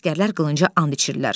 Əsgərlər qılınca and içirlər.